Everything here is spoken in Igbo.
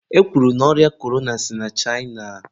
e kwuru na ọrịa korona si na China.